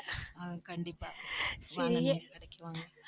ஆஹ் கண்டிப்பா வாங்க கடைக்கு வாங்க